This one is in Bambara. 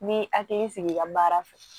N m'i hakili sigi i ka baara fɛ